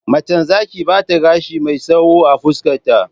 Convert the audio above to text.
Macen Zaki bata gashi mai tsawo a fuskar ta